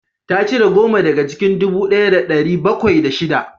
Ta cire goma daga cikin dubu ɗaya da ɗari bakwai da shida